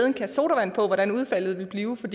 en kasse sodavand på hvordan udfaldet ville blive for